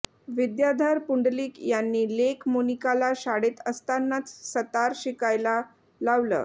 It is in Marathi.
विद्याधर पुंडलिक यांनी लेक मोनिकाला शाळेत असतानाच सतार शिकायला लावलं